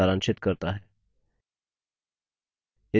यह spoken tutorial project को सारांशित करता है